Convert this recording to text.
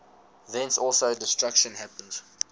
thence also their destruction happens